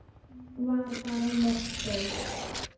Var bara mottó.